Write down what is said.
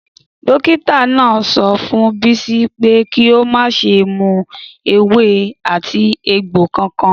Dókítà náà sọ fún Bisi pé kí o má ṣe mú ewé ati egbo kankan.